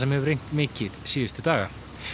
hefur mikið síðustu daga